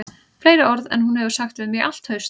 Fleiri orð en hún hefur sagt við mig í allt haust